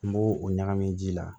N b'o o ɲagami ji la